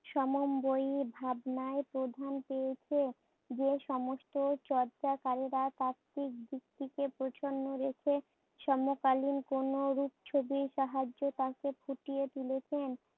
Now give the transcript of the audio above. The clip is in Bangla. সমন্বয়ী ভাবনায় প্রাধান্য পেয়েছে। যে সমস্ত চর্চাকারীরা তাত্ত্বিক দিক থেকে গেছে সমকালীন কোন রুপছবির সাহায্যে তাকে ফুটিয়ে তুলেছেন।